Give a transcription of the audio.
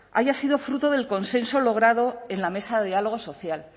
haya sido fruto del consenso logrado en la mesa de diálogo social